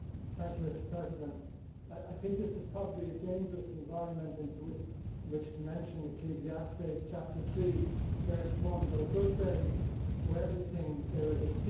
Mr President, I think this is probably a dangerous environment in which to mention Ecclesiastes Chapter 3, verse 1, but it does say to everything there is a season'.